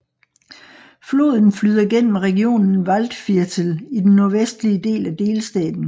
Floden flyder gennem regionen Waldviertel i den nordvestlige del af delstaten